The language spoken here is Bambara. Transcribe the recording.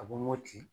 A bɛ mɔti